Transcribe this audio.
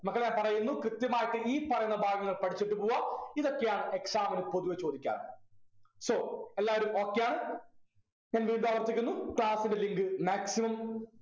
മക്കളെ പറയുന്നു കൃത്യമായിട്ട് ഈ പറയുന്ന ഭാഗങ്ങൾ പഠിച്ചിട്ടു പോവ്വാ ഇതൊക്കെയാണ് exam നു പൊതുവെ ചോദിക്കാറ് so എല്ലാവരും okay യാണ് എങ്കിൽ ഇതാവർത്തിക്കുന്നു class ൻ്റെ link maximum